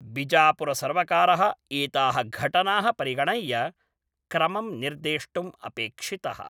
बिजापुरसर्वकारः एताः घटनाः परिगणय्य, क्रमं निर्देष्टुम् अपेक्षितः।